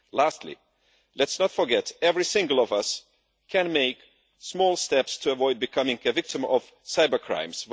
Lastly, let's not forget that every single one of us can make small steps to avoid becoming a victim of cybercrimes.